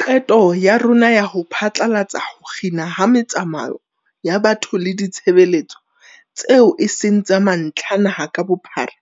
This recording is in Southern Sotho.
Qeto ya rona ya ho phatlalatsa ho kginwa ha metsamao ya batho le ditshebeletso tseo e seng tsa mantlha naha ka bophara,